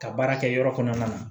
Ka baara kɛ yɔrɔ kɔnɔna na